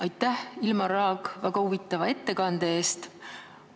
Aitäh, Ilmar Raag, väga huvitava ettekande eest!